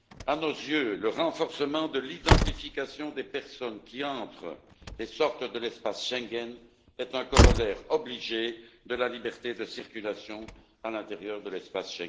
À nos yeux, le renforcement de l'identification des personnes qui entrent et sortent de l'espace Schengen est un corollaire obligé de la liberté de circulation à l'intérieur de cet espace.